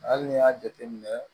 Hali n'i y'a jateminɛ